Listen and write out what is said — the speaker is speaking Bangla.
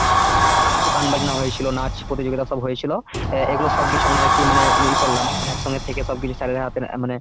তো গান বাজনা হয়েছিল নাচ প্রতিযোগিতা সব হয়েছিল, অ্যাঁ এইগুলো সব কিছু আমরা আর কি মানে এই করলাম, মানে একসঙ্গে থেকে সব কিছু sir এর হাতে হাতে মানে